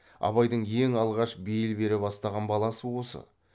абайдың ең алғаш бейіл бере бастаған баласы осы